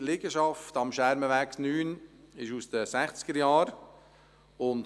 Die Liegenschaft am Schermenweg 9 stammt aus den 1960erJahren.